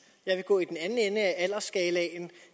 jeg vil gå i den anden ende af aldersskalaen